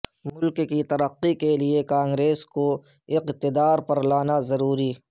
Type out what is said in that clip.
ملک کی ترقی کیلئے کانگریس کو اقتدار پر لانا ضروری